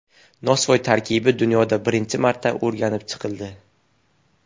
Nosvoy tarkibi dunyoda birinchi marta o‘rganib chiqildi.